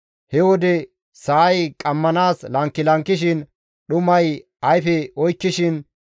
he wode sa7ay qammanaas lankilankishin, dhumay ayfe oykkishin,